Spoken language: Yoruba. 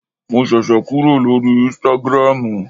Mo ṣẹ̀ṣẹ̀ kúrò lórí ísítágírámù